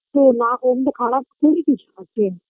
তো না কোনও দিন তো খারাপ করি কিছু